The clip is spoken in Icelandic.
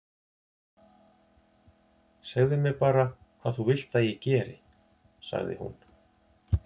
Segðu mér bara hvað þú vilt að ég geri- sagði hún.